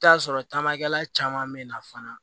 I bɛ t'a sɔrɔ tamakɛla caman bɛ na fana